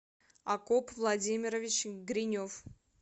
акоп владимирович гринев